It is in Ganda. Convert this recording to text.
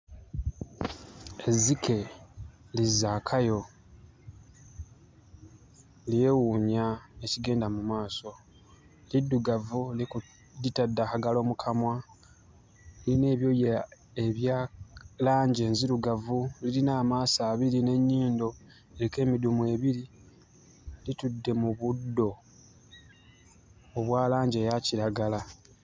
Ezzike li Zaakayo lyewuunya ekigenda mu maaso, liddugavu liku litadde akagalo mu kamwa. Liyina ebyooya ebya langi enzirugavu lirina amaaso abiri n'ennyindo eriko emidumu ebiri. Litudde mu buddo obwa langi eya kiragala